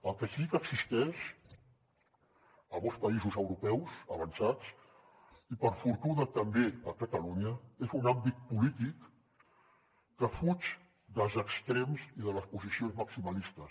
el que sí que existeix a molts països europeus avançats i per fortuna també a catalunya és un àmbit polític que fuig dels extrems i de les posicions maximalistes